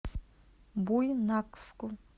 буйнакску